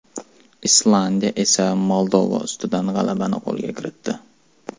Islandiya esa Moldova ustidan g‘alabani qo‘lga kiritdi.